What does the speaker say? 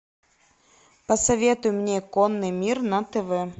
посоветуй мне конный мир на тв